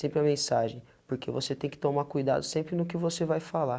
Sempre a mensagem, porque você tem que tomar cuidado sempre no que você vai falar.